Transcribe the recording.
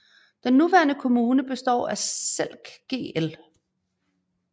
Den nuværende kommune består af Selk gl